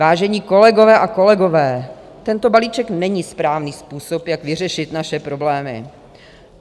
Vážení kolegové a kolegyně, tento balíček není správný způsob, jak vyřešit naše problémy.